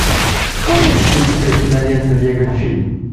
есть ли у тебя кинолента лего фильм